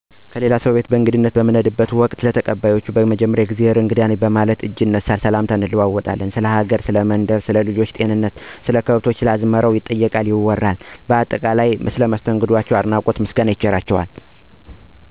የሌላ ሰው ቤት በእንግድነት በምንሄድበት ወቅት፣ ለተቀባዮ እና ለቤተሰባቸው ያለን አድናቆት እና አክብሮት እጅግ ላቅ ያለ ነው። በመጀመሪያ የእግዜሄር እንግዳ ነኝ በማለት እጅ ይነሳ፣ ሰላምታም እንለዋወጣለን፣ ስለ ሀገሩ፥ ስለ ቀየው፥ ሰለ መንደሩ ደህንነት፥ ስለ ልጆች ጤንነት፥ ስለ ከብቶች፥ ስለ አዝመራው ባጠቃላይ ስለ ሁሉም ነገር ከሞላ ጎደል ይወሳል፥ ይጠየቃል፥ ይወራል። ስለ አደረጉት መስተንግዶ እንግዳ አቀባበል፤ አድናቆት እና አክብሮት ምርቃትና ምስጋና፣ ውዳሴ፣ ዘፈን፣ በግጥም ወዘተ ይቸራቸዋል ማለት ነው። በምርቃትና በምስጋና ወቅት ልጆችን ክፍ አይንካቸቸው፤ አገሩን መንደሩን ሰላም ያርግላችሁ ይባላል። እንዲሁም ፋቅር እና ወዳጅነትን በጥብቅ ይገለፃል።